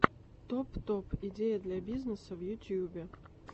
топ топ идеи для бизнеса в ютюбе